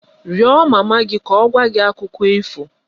Rịọ mama gị ka ọ gwa gị Akụkọ ifo!